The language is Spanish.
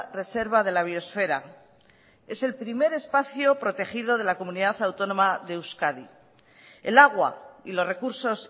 reserva de la biosfera es el primer espacio protegido de la comunidad autónoma de euskadi el agua y los recursos